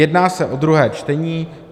Jedná se o druhé čtení.